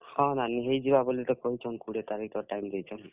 ହଁ, ନାନୀ ହେଇଯିବା ବଲି ତ କହିଛନ୍ କୁଡେ ତାରିଖ୍ ତ time ଦେଇଛନ୍।